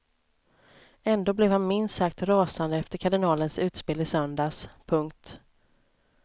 Ändå blev han minst sagt rasande efter kardinalens utspel i söndags. punkt